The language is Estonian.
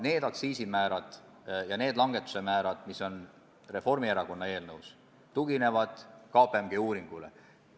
Need aktsiisimäärade langetuse ettepanekud, mis on Reformierakonna eelnõus, tuginevad KPMG uuringule.